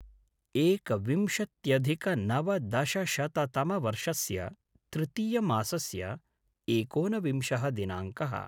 एकविंशत्यधिकनवदशशततमवर्षस्य तृतीयमासस्य एकोनविंशः दिनाङ्कः